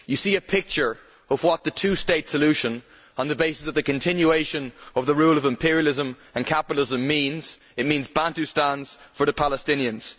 You see a picture of what the two state solution on the basis of the continuation of the rule of imperialism and capitalism means it means Bantustans for the Palestinians.